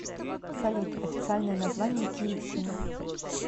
салют официальное название киевщина